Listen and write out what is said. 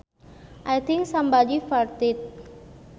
I think somebody farted